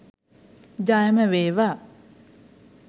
ජයම වේවා